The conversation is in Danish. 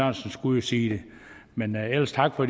jo skulle sige det men ellers tak for